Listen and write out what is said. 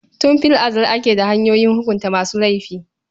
Tun fil azal ake da hanyoyin hukunta masu laifi.